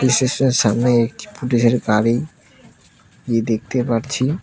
স্টেশনের সামনে একটি পুলিশের গাড়ি দেখতে পারছি।